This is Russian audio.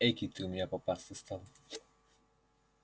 экий ты у меня попастый стал